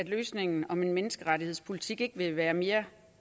løsningen om en menneskerettighedspolitik vil være mere